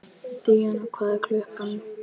Díanna, hvað er klukkan?